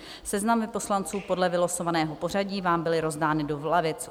Seznamy poslanců podle vylosovaného pořadí vám byly rozdány do lavic.